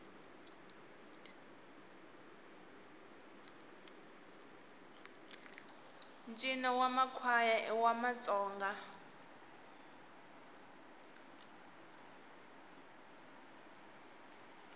ntjino wamakwaya iwamatsonga